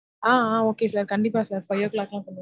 ஆஹ் ஆஹ் okay sir. கண்டிப்பா sir five o'clock Ghulam